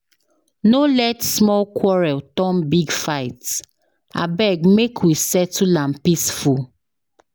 No let small quarrel turn big fight, abeg make we settle am peaceful.